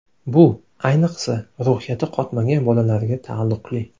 Bu, ayniqsa, ruhiyati qotmagan bolalarga taalluqli.